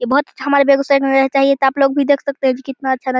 ये बहोत अच्छ हमारे बेगुसराय का नजारा चाहिए तो आपलोग भी देख सकते है की कितना अच्छा --